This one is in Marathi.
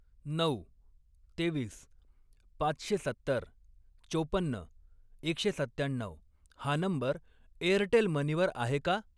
नऊ, तेवीस, पाचशे सत्तर, चौपन्न, एकशे सत्त्याण्णऊ हा नंबर एअरटेल मनी वर आहे का?